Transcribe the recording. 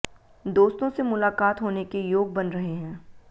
दोस्तों से मुलाकात होने के योग बन रहे हैं